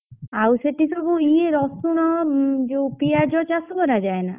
ଆଉ ସେଠି ସବୁ ଇଏ ରସୁଣ ଜଉ ପିଆଜ ଚାଷ କରାଯାଏ ନା?